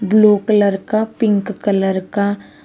blue colour का pink colour का--